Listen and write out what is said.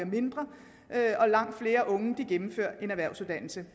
mindre og langt flere unge gennemfører en erhvervsuddannelse